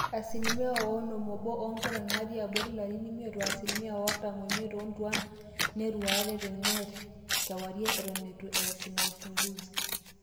asilimia onom oobo oonkera naatii abori ilarin imiet o asilimia artam oimiet oontuaan neirueate teneet kewarie eton eitu eesi ina uchungusi